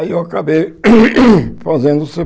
Aí eu acabei fazendo o cê